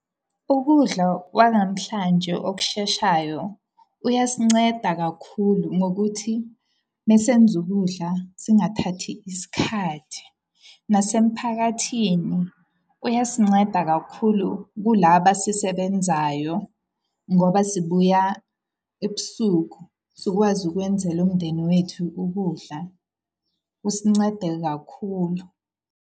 Ukudla kwanamhlanje okusheshayo, kuyasinceda kakhulu ngokuthi mesenza ukudla, singathathi isikhathi. Nasemphakathini kuyasinceda kakhulu kula basisebenzayo. Ngoba sibuya ebusuku sikwazi ukwenzela umndeni wethu ukudla. Kusincede kakhulu.